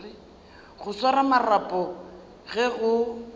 go swara marapo ge go